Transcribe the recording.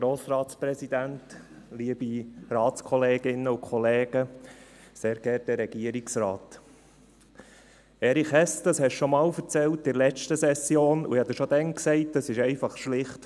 Erich Hess, das haben Sie in der letzten Session schon einmal erzählt, und ich habe Ihnen schon damals gesagt: